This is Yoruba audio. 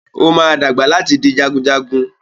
Ó máa dàgbà láti di jagunjagun.